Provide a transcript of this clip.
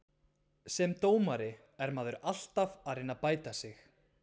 Sem dómari er maður alltaf að reyna að bæta sig.